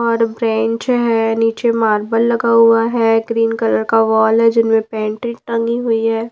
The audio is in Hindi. और ब्रेंच है नीचे मार्बल लगा हुआ है ग्रीन कलर का वॉल है जिनमें पेंटिंग टंगी हुई है।